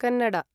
Kannada